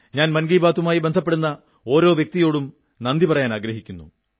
ഞാൻ മൻ കീ ബാത്തുമായി ബന്ധപ്പെടുന്ന ഒരോ വ്യക്തിയോടും നന്ദി പറയാനാഗ്രഹിക്കുന്നു